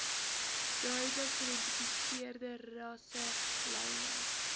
duidelik geïdentifiseerde rasselyne